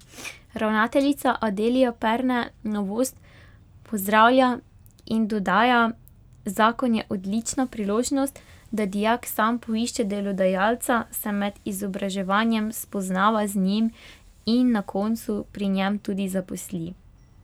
Ravnateljica Adelija Perne novost pozdravlja in dodaja: 'Zakon je odlična priložnost, da dijak sam poišče delodajalca, se med izobraževanjem spoznava z njim in na koncu pri njem tudi zaposli.